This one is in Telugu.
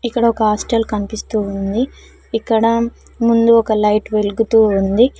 ఇక్కడ ఒక హాస్టల్ కనిపిస్తూ ఉంది ఇక్కడ ముందు ఒక లైట్ వెలుగుతూ ఉంది.